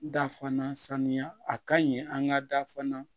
Da fana saniya a ka ɲi an ka da fana